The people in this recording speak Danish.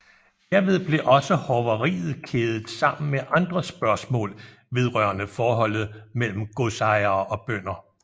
Derved blev også hoveriet kædet sammen med andre spørgsmål vedrørende forholdet mellem godsejere og bønder